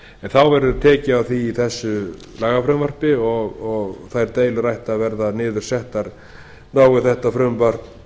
en það verður tekið á því í þessu lagafrumvarpi og þær deilur ættu að vera niðursettar nái þetta frumvarp